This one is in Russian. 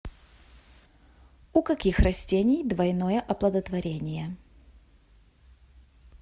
у каких растений двойное оплодотворение